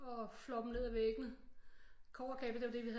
Og flår dem ned af væggene kobberkabler det var det vi havde